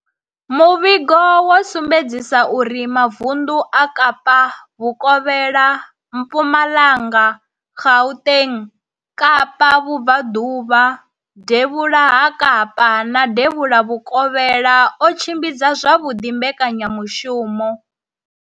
Muvhigo wo sumbedzisa uri mavundu a Kapa Vhukovhela, Mpumalanga, Gauteng, Kapa Vhubva ḓuvha, Devhula ha Kapa na Devhula Vhukovhela o tshimbidza zwavhuḓi mbekanya mushumo.